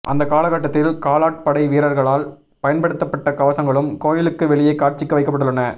அந்தக் காலகட்டத்தில் காலாட்படை வீரர்களால் பயன்படுத்தப்பட்ட கவசங்களும் கோயிலுக்கு வெளியே காட்சிக்கு வைக்கப்பட்டுள்ளன